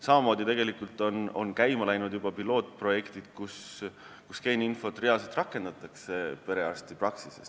Samamoodi on käima läinud juba pilootprojektid, kus geeniinfot perearstipraksises rakendatakse.